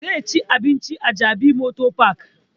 Zai ci abinci a jabi motor park